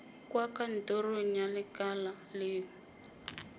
kwa kantorong ya lekala lengwe